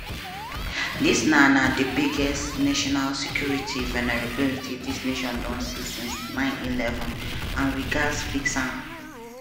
"dis na na di biggest national security vulnerability dis nation don see since 9/11 and we gatz fix am."